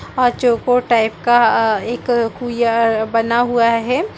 और चौकोर टाइप का आ एक कुईया बना हुआ हैं।